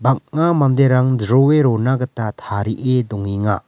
bang·a manderang jroe rona gita tarie dongenga.